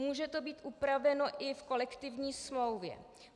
Může to být upraveno i v kolektivní smlouvě.